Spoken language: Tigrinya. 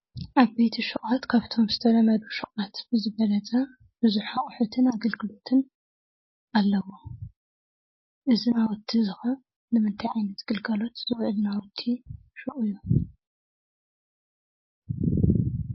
ዓበይቲ ሹቋት ካፍቶም ዝተለመዱ ሹቋት ብዝበለፀ ብዙሕ ኣቑሑትን ኣገልግሎትን ኣለዎም፡፡ እዚ ናውቲ እዚ ኸ ንምንታይ ዓይነት ግልጋሎት ዝውዕል ናውቲ ሹቕ እዩ?